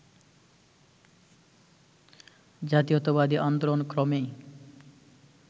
জাতীয়তাবাদী আন্দোলন ক্রমেই